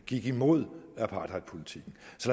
tyve